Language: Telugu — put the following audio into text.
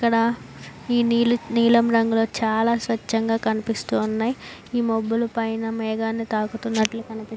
ఇక్కడా ఈ నీలి నీలం రంగులో చాల స్వచ్చంగా కనిపిస్తూ ఉన్నాయ్. ఈ మబ్బులు పైన మేఘాలు తాకినట్టు కనిపి --